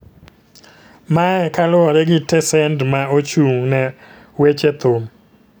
mae ka luore gi tesend ma ochung ne weche thum.